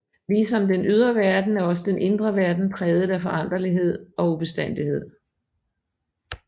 Ligesom den ydre verden er også den indre verden præget af foranderlighed og ubestandighed